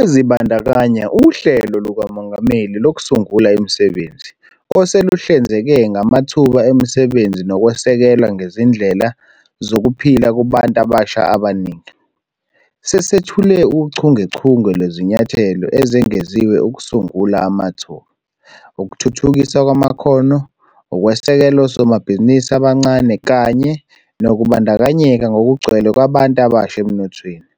Ezibandakanya uHlelo lukaMongameli Lokusungula Imisebenzi, oseluhlinzeke ngamathuba emisebenzi nokwesekelwa kwezindlela zokuphila kubantu abasha abaningi. Sesethule uchungechunge lwezinyathelo ezengeziwe ukusungula amathuba, ukuthuthukiswa kwamakhono, ukwesekela osomabhizinisi abancane kanye nokubandakanyeka ngokugcwele kwabantu abasha emnothweni.